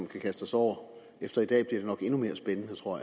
kan kaste os over og efter i dag bliver det nok endnu mere spændende tror